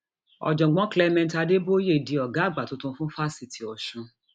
ọjọgbọn clement adebooye di ọgá àgbà tuntun fún fásitì ọsùn